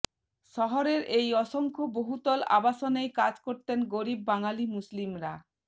শহরের এই অসংখ্য বহুতল আবাসনেই কাজ করতেন গরিব বাঙালি মুসলিমরা